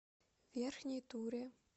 верхней туре